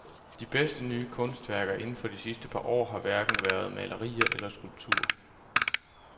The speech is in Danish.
De bedste nye kunstværker inden for de sidste par år har hverken været malerier eller skulpturer.